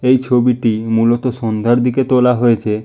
এই ছবিটি মূলত সন্ধ্যার দিকে তোলা হয়েছে।